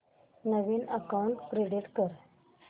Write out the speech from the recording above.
नवीन account create कर